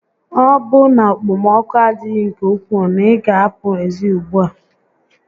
Ọ bụ na okpom6oku adịghị nke ukwuu na-ị gá a apụ ezi ùgbúà?